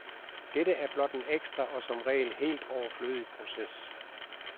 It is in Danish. Dette er blot en ekstra og som regel helt overflødig proces.